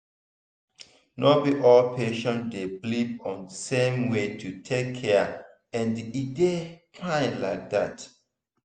no be all patient dey believe on same way to take cure and e dey fine like that.